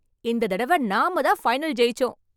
இந்த தடவ நாம தான் ஃபைனல் ஜெயிச்சோம்.